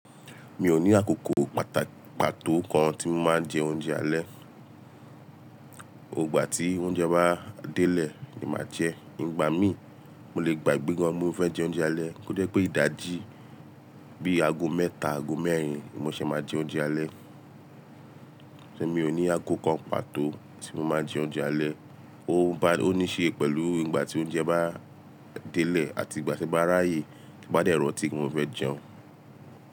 Mi ò ní àkókò pato kan tí mo máa ń jẹ oúnjẹ alẹ́. Gbogbo igba tí oúnjẹ bá delẹ, ni màá jẹ. Ìgbà mí, mo lè gbàgbé gan pe mo fẹ́ jẹ oúnjẹ alẹ́. Ko jẹ pé ìdajì bíi ago mẹ́ta, ago mẹ́rin ni mo ṣẹ̀ máa jẹ oúnjẹ alẹ́. Emi ò ní aago kan pàtó tí mo máa ń jẹ oúnjẹ alẹ́. Ó bá-- ó níí ṣe pẹ̀lú ìgbà tí oúnjẹ bá délẹ àti ìgbà tí n bá ráyè, tí n bá dẹ ranti pe mo fẹ́ jẹun.